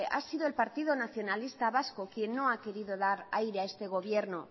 ha sido el partido nacionalista vasco quien no ha querido dar aire a este gobierno